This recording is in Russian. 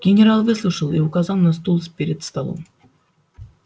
генерал выслушал и указал на стул с перед столом